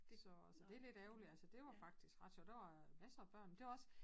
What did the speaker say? Så så det lidt ærgerligt altså dét var faktisk ret sjovt der var masser af børn det var også